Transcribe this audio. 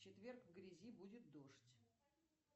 в четверг в грязи будет дождь